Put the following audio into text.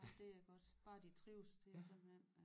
Ej det er godt bare de trives det simpelthen